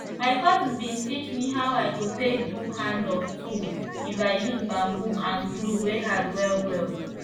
my cousin bin teach me how i go take do hand of tools if i use bamboo and glue wey hard well well